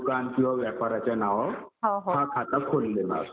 दुकान किंवा व्यापाराच्या नावावर हा खाता खोललेला असतो.